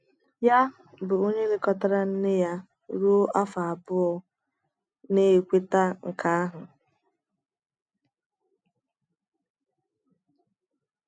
ya, bụ́ onye lekọtara nne ya ruo afọ abụọ, na - ekweta nke ahụ.